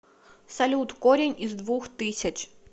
салют корень из двух тысяч